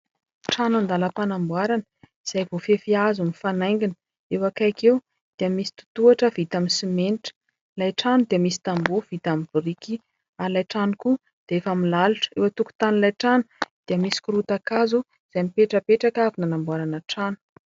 Trano andalam-panamboarana izay voafefy hazo mifanaingina. Eo akaiky eo dia misy totoatra vita amin'ny simenitra. Ilay trano dia misy tambo vita amin'ny boriky, ary ilay trano koa dia efa milalotra. Eo an-tokotanin'ilay trano dia misy korotan-kazo izay mipetrapetraka avy nanamboarana trano.